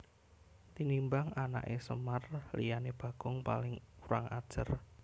Tinimbang anaké Semar liyané Bagong paling kurang ajar